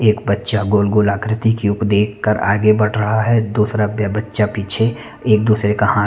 एक बच्चा गोल-गोल आकृति की देख कर आगे बढ़ रहा है दूसरा ब-बच्चा पीछे एक-दूसरे का हाथ--